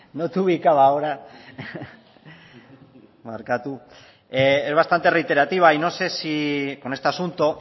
ahora barkatu es bastante reiterativa y no sé si con este asunto